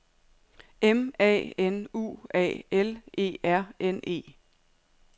M A N U A L E R N E